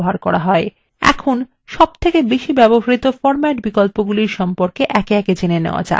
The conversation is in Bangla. এখন বহুল ব্যবহৃত বিন্যাস বিকল্পগুলির সম্পর্কে একে একে জেনে নেওয়া যাক